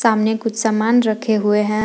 सामने कुछ सामान रखे हुए हैं।